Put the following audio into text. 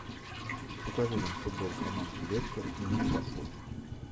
покажи нам футбол команд лестер ньюкасл